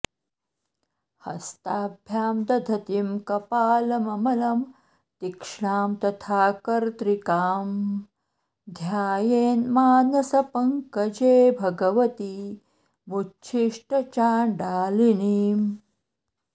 हस्ताभ्यां दधतीं कपालममलं तीक्ष्णां तथा कर्त्रिकां ध्यायेन्मानसपङ्कजे भगवतीमुच्छिष्टचाण्डालिनीम्